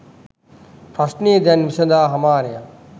ප්‍රශ්ණය දැන් විසඳා හමාරය.